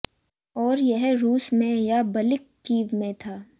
और यह रूस में या बल्कि कीव में था